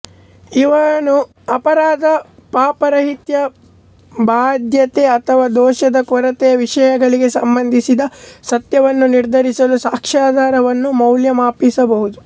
ಇವನು ಅಪರಾಧ ಪಾಪರಾಹಿತ್ಯ ಬಾಧ್ಯತೆ ಅಥವಾ ದೋಷದ ಕೊರತೆಯ ವಿಷಯಗಳಿಗೆ ಸಂಬಂಧಿಸಿದ ಸತ್ಯವನ್ನು ನಿರ್ಧರಿಸಲು ಸಾಕ್ಷ್ಯಾಧಾರವನ್ನು ಮೌಲ್ಯಮಾಪಿಸಬಹುದು